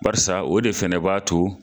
Barisa o de fɛnɛ b'a to